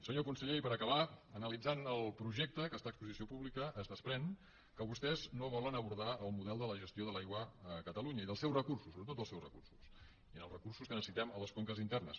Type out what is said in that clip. senyor conseller i per acabar analitzant el projecte que està a exposició pública es desprèn que vostès no volen abordar el model de la gestió de l’aigua a catalunya i dels seus recursos sobretot dels seus recursos i dels recursos que necessitem a les conques internes